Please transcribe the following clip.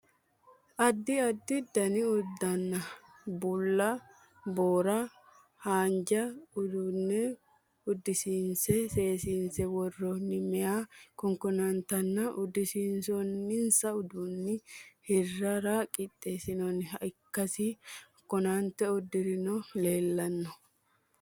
Addi addi dani uddanna: bulla, barronna waajjo uduunne uddisiinse seesiinse worroonni meeya kankootanna uddisiinsoonninsa uduunni hirrarra qixaawinoha ikkasi kankootu uddiranni leellano.